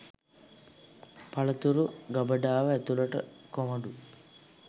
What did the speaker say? පළතුරු ගබඩාව ඇතුළට කොමඩු